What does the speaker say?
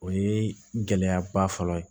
O ye gɛlɛyaba fɔlɔ ye